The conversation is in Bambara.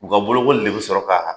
U ka bolokoli de be sɔrɔ kaa